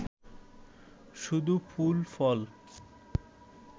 শুধু ফুল ফল!